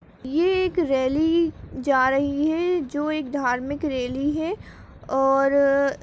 ये एक रैली जा रही है जो एक धार्मिक रैली है और --